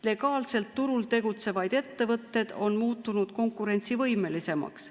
Legaalselt turul tegutsevad ettevõtted on muutunud konkurentsivõimelisemaks.